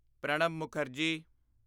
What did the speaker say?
Pranab Mukherjee